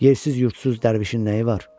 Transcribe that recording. Yersiz-yurdsuz dərvişin nəyi var?